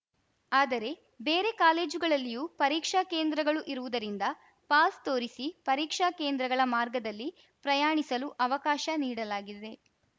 ಆದರೆ ಬೇರೆ ಕಾಲೇಜುಗಳಲ್ಲಿಯೂ ಪರೀಕ್ಷಾ ಕೇಂದ್ರಗಳು ಇರುವುದರಿಂದ ಪಾಸ್‌ ತೋರಿಸಿ ಪರೀಕ್ಷಾ ಕೇಂದ್ರಗಳ ಮಾರ್ಗದಲ್ಲಿ ಪ್ರಯಾಣಿಸಲು ಅವಕಾಶ ನೀಡಲಾಗಿದೆ